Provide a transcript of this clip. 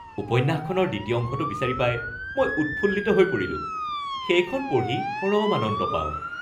উপন্যাসখনৰ দ্বিতীয় অংশটো বিচাৰি পাই মই উৎফুল্লিত হৈ পৰিলোঁ। সেইখন পঢ়ি পৰম আনন্দ পাওঁ।